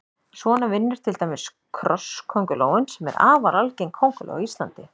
Svona vinnur til dæmis krosskóngulóin sem er afar algeng kónguló á Íslandi.